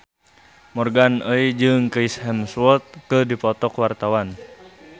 Morgan Oey jeung Chris Hemsworth keur dipoto ku wartawan